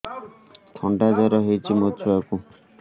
ଥଣ୍ଡା ଜର ହେଇଚି ମୋ ଛୁଆକୁ